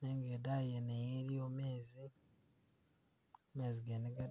nenga idayi yene eyo iliyo mezi, mezi gene ga...